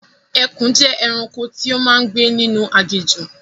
Ẹkùn jẹ́ ẹranko tí ó máa ń gbé ninu aginjù